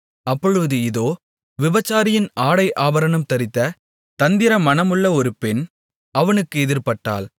அப்பொழுது இதோ விபசாரியின் ஆடை ஆபரணம் தரித்த தந்திரமனமுள்ள ஒரு பெண் அவனுக்கு எதிர்ப்பட்டாள்